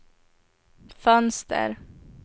fönster